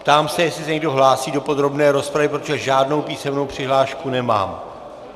Ptám se, jestli se někdo hlásí do podrobné rozpravy, protože žádnou písemnou přihlášku nemám.